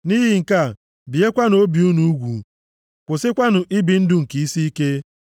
Nʼihi nke a, biekwanụ obi unu ugwu, kwụsịkwanụ ibi ndụ nke isiike.